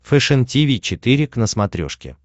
фэшен тиви четыре к на смотрешке